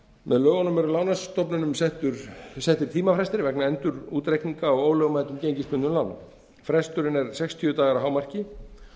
með lögunum er lánastofnunum settir tímafrestir vegna endurútreikninga á ólögmætum gengisbundnum lánum fresturinn er sextíu dagar að hámarki